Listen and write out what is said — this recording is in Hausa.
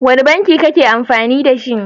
Wane banki kake amfani dashi?